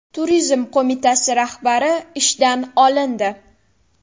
Turizm qo‘mitasi rahbari ishdan olindi.